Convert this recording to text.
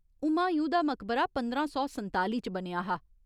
हुमायूं दा मकबरा पंदरां सौ संताली च बनेआ हा।